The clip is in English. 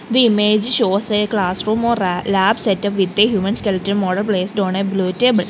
the image shows a classroom or ra lab setup with a human skeleton model placed on a blue table.